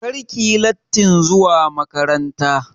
Kar ki yi lattin zuwa makaranta!